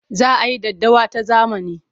Za a yi daddawa ta zamani.